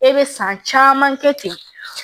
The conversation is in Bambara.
E be san caman kɛ ten